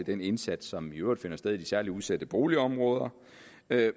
den indsats som i øvrigt finder sted i de særlig udsatte boligområder